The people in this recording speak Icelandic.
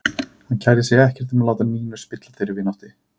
Hann kærði sig ekkert um að láta Nínu spilla þeirri vináttu.